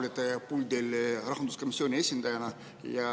Täna te olete puldis rahanduskomisjoni esindajana.